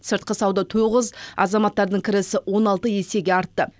сыртқы сауда тоғыз азаматтардың кірісі он алты есеге артты